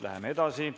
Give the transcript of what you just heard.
Läheme edasi.